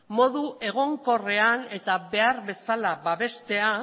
modu egonkorrean eta behar bezala babestea